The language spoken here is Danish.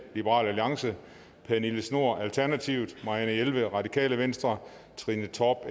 pernille schnoor marianne jelved trine torp